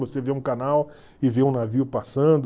Você vê um canal e vê um navio passando.